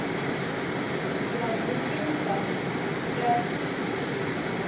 Já, við gerum það. Bless.